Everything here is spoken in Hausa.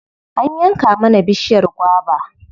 An yanke mana bishiyar gwaba.